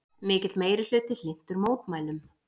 Mikill meirihluti hlynntur mótmælum